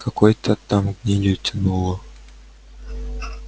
какой-то там гнилью тянуло